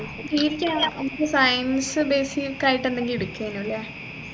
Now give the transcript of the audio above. degree ക്ക് അൻക്ക് science based ആയിട്ട് എന്തെങ്കിലും എടുക്കെനു അല്ലെ